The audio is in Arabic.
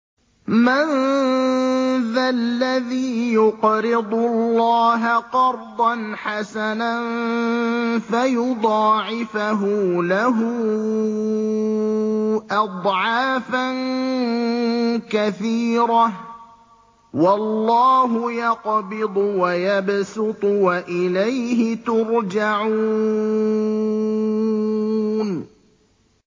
مَّن ذَا الَّذِي يُقْرِضُ اللَّهَ قَرْضًا حَسَنًا فَيُضَاعِفَهُ لَهُ أَضْعَافًا كَثِيرَةً ۚ وَاللَّهُ يَقْبِضُ وَيَبْسُطُ وَإِلَيْهِ تُرْجَعُونَ